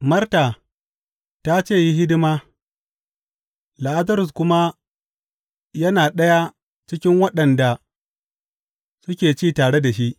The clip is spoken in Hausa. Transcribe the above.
Marta ta ce yi hidima, Lazarus kuma yana ɗaya cikin waɗanda suke ci tare shi.